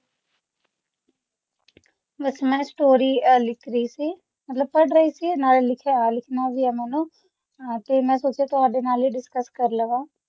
ਬਸ ਮੈਂ story ਅਹ ਲਿਖ ਰਹੀ ਸੀ ਮਤਲਬ ਪੜ੍ਹ ਰਹੀ ਸੀ ਨਾਲ ਲਿਖਿਆ ਲਿਖਣਾ ਵੀ ਆ ਮੈਨੂੰ ਹਾਂ ਤੇ ਮੈਂ ਸੋਚਿਆ ਤੁਹਾਡੇ ਨਾਲ ਹੀ discuss ਕਰ ਲਵਾਂ